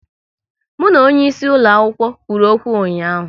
Mụ na onye isi ulo akwụkwọ kwụrụ okwu ụnyaahụ